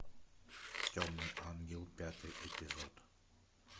темный ангел пятый эпизод